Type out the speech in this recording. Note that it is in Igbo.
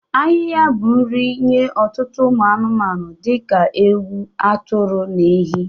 Ahịha bụ nri nye ọtụtụ ụmụ anụmanụ dị ka ewu, atụrụ na ehi.